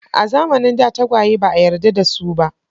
A zamanin da tagwaye ba a yarda da su ba.